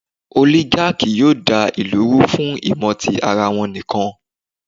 Ólígákì yóò da ìlù rú fún ìmò tí ara wọn nìkan.